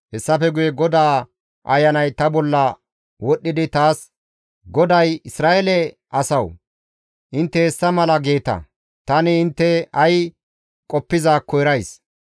Hessafe guye GODAA Ayanay ta bolla wodhdhidi taas, «GODAY: Isra7eele asawu! Intte hessa mala geeta; tani intte ay qoppizaakko erays.